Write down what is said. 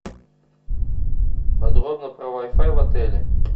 подробно про вай фай в отеле